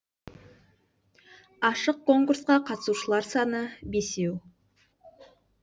ашық конкурсқа қатысушылар саны бесеу